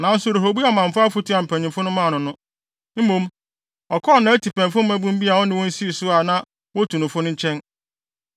Nanso Rehoboam amfa afotu a mpanyimfo no maa no no. Mmom, ɔkɔɔ nʼatipɛnfo mmabun bi a ɔne wɔn sii so a na wotu no fo no nkyɛn.